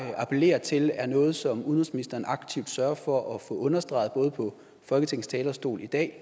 appellere til at det er noget som udenrigsministeren aktivt sørger for at få understreget både på folketingets talerstol i dag